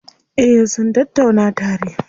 Eh sun tattauna tare.